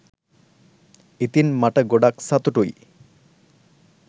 ඉතින් මට ගොඩක් සතුටුයි